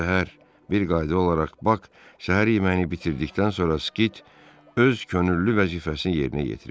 Hər səhər bir qayda olaraq Bak səhər yeməyini bitirdikdən sonra Skit öz könüllü vəzifəsini yerinə yetirirdi.